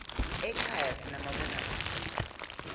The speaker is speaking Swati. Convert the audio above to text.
ekhaya sinamabonakudze